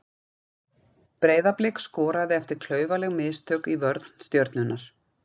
Breiðablik skoraði eftir klaufaleg mistök í vörn Stjörnunnar.